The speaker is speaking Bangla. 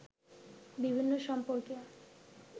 বিভিন্ন সম্পর্কে